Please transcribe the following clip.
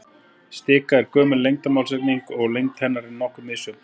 Stika er gömul lengdarmálseining og lengd hennar er nokkuð misjöfn.